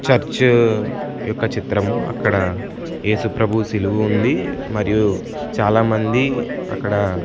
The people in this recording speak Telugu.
చర్చు యొక్క చిత్రము అక్కడ ఏసుప్రభు శిలువుంది మరియు చాలామంది అక్కడ--